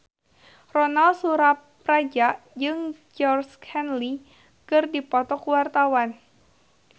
Ronal Surapradja jeung Georgie Henley keur dipoto ku wartawan